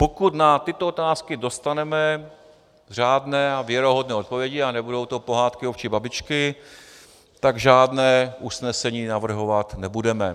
Pokud na tyto otázky dostaneme řádné a věrohodné odpovědi a nebudou to Pohádky ovčí babičky, tak žádné usnesení navrhovat nebudeme.